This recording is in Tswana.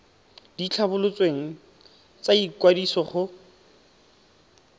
di tlhabolotsweng tsa ikwadiso go